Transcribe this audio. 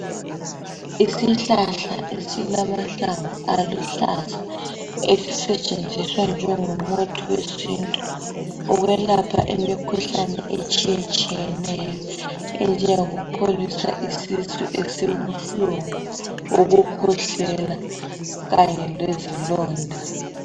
Isihlahla esilahlamvu aluhlaza esisetshenziswa ukwelapha imikhuhlane etshiyetshiyeneyo enjengo buhlungu, ukukhwehlela kanye lezilonda